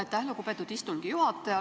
Aitäh, lugupeetud istungi juhataja!